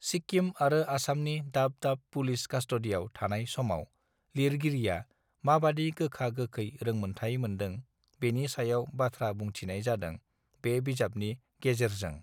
सिक्किम आरो आसामनि दाब दाब पुलिस कास्टडियाव थानाय समाव लिरगिरिया माबादि गोखा गोखै रोंमोनथाइ मोनदों बेनिसा बाथ्राबुंथिनाय जादों बे बिजाबनि गेजेरजों